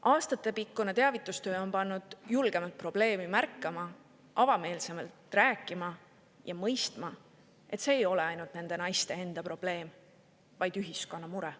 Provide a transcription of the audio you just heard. Aastatepikkune teavitustöö on pannud julgemalt probleemi märkama, avameelsemalt rääkima ja mõistma, et see ei ole ainult nende naiste enda probleem, vaid ühiskonna mure.